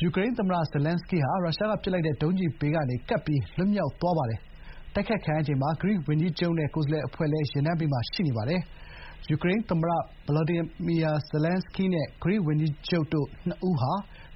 ယူကရိန်းသမ္မတဇာလန်းစကီးဟာ ရုရှားကပစ်လိုက်တဲ့ဒုံးကျည်ဘေးကနေ ကပ်ပြီးလွတ်မြောက်သွားပါတယ်။ တိုက်ခိုက်ခံရချိန်မှာ ဂရိဝန်ကြီးချုပ်နဲ့ ကိုယ်စားလှယ်အဖွဲ့လည်း ယာဉ်တန်းမှာပါရှိပါတယ်။ ယူကရိန်းသမ္မတ Volodymyr Zelenskyy နဲ့ ဂရိဝန်ကြီးချုပ် Kyriakos Mitsotakis တို့နှစ်ဦး